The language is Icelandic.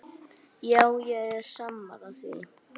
Já, ég er sammála því.